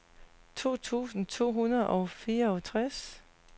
to tusind to hundrede og fireogtres